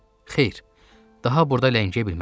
Xeyr, daha burda ləngiyə bilmərəm.